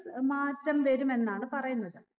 ഏർ മാറ്റം വരുമെന്നാണ് പറയുന്നത്